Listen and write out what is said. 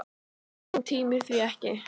En hún tímir því ekki!